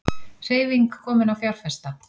Hreyfing komin á fjárfesta